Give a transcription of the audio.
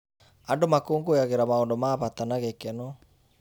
Andũ makũngũyagĩra maũndũ ma bata na gĩkeno.